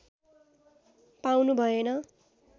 पाउनु भएन